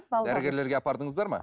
дәрігерлерге апардыңыздар ма